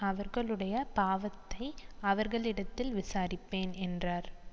அவர்களுடைய பாவத்தை அவர்களிடத்தில் விசாரிப்பேன் என்றார்